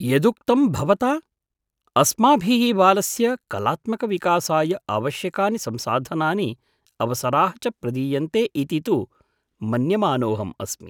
यदुक्तं भवता? अस्माभिः बालस्य कलात्मकविकासाय आवश्यकानि संसाधनानि अवसराः च प्रदीयन्ते इति तु मन्यमानोऽहम् अस्मि।